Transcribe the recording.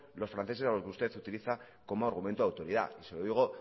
los franceses a los que usted utiliza como argumento de autoridad y se lo digo